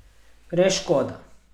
Res škoda.